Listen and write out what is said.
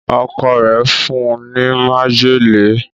Ọkọ rẹ fún ní májèlé.